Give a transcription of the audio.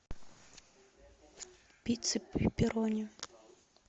пицца пепперони